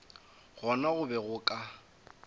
gona go be go ka